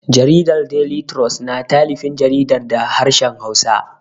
Jaridar Daily Trust na talifin jaridar da harshen Hausa.